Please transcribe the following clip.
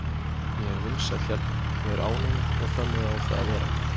Ég er vinsæll hérna, ég er ánægður og þannig á það að vera.